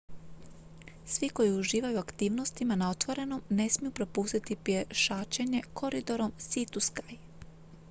svi koji uživaju u aktivnostima na otvorenom ne smiju propustiti pješačenje koridorom sea to sky